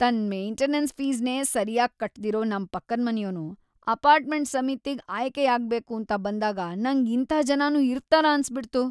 ತನ್ನ್ maintenance ಫೀಸ್‌ನೇ ಸರ್ಯಾಗ್‌ ಕಟ್ದಿರೋ ನಮ್‌ ಪಕ್ಕದ್ಮನೆಯೋನು ಅಪಾರ್ಟ್ಮೆಂಟ್ ಸಮಿತಿಗ್ ಆಯ್ಕೆಯಾಗ್ಬೇಕೂಂತ ಬಂದಾಗ ನಂಗ್‌ ಇಂಥಾ ಜನನೂ ಇರ್ತಾರಾ ಅನ್ಸ್‌ಬಿಡ್ತು.